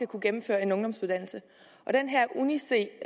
kunne gennemføre en ungdomsuddannelse den her uni c